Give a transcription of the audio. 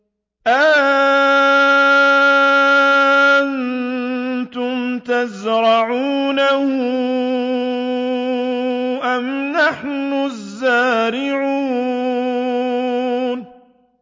أَأَنتُمْ تَزْرَعُونَهُ أَمْ نَحْنُ الزَّارِعُونَ